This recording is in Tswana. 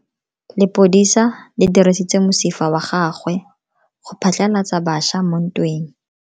Lepodisa le dirisitse mosifa wa gagwe go phatlalatsa batšha mo ntweng.